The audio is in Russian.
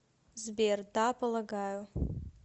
сбер да полагаю